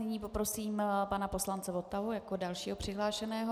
Nyní poprosím pana poslance Votavu jako dalšího přihlášeného.